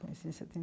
Conheci em